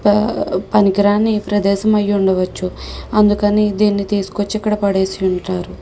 ఆ పనికి రాని ప్రేదేశం అయుండవచు అందుకని దేన్ని తీసుకొచ్చి ఇక్కడ పడేసి ఉంటారు.